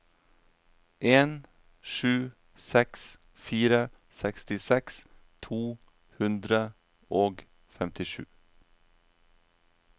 en sju seks fire sekstiseks to hundre og femtisju